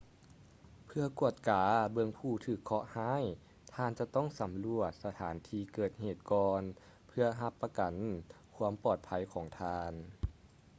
ເພື່ອກວດກາເບິ່ງຜູ້ຖືກເຄາະຮ້າຍ ທ່ານຈະຕ້ອງສຳຫຼວດສະຖານທີ່ເກີດເຫດກ່ອນເພື່ອຮັບປະກັນຄວາມປອດໄພຂອງທ່ານ